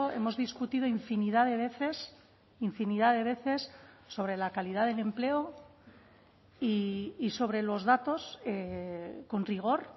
hemos discutido infinidad de veces infinidad de veces sobre la calidad del empleo y sobre los datos con rigor